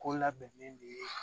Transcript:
Ko labɛnnen de ye